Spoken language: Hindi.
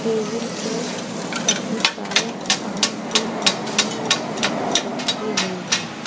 टेबिल पर काफी सारे पानी के मग्गे और चम्मच रखी गये है।